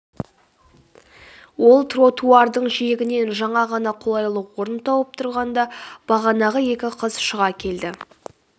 ол тротуардың жиегінен жаңа ғана қолайлы орын тауып тұрғанда бағанағы екі қыз шыға келді